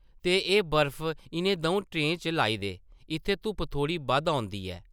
ते एह् बर्फ इʼनें दʼऊं ट्रें च लाई दे, इत्थै धुप्प थोह्ड़ी बद्ध औंदी ऐ ।